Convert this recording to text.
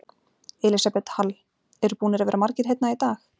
Elísabet Hall: Eru búnir að vera margir hérna í dag?